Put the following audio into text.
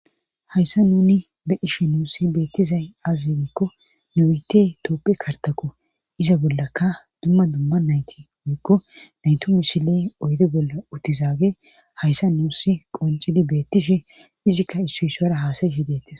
Hayssa nuni be ishe nuussi beettizay azinikko nuite toopphe kartako iza bollaka dumma dumma nayti woykko naytu mishile oyde bolla uttizaage hayssa nuussi qoncili beettishe izikka issu isuara haasayishi deettis.